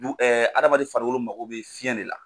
hadamaden farikolo mago bɛ fiyɛn de la.